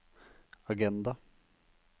agenda